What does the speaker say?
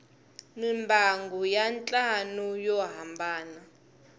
mimbangu ya ntlhanu yo hambana